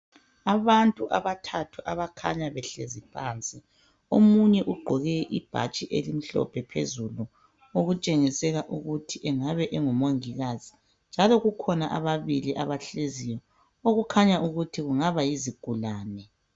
Abantu abathathu abakhanya behlezi phansi Omunye ugqoke ibhatshi elimhlophe phezulu okutshengisela ukuthi engabe ngumongikazi njalo kukhona ababili abahleziyo okukhanya ukuthi kungaba yizigulane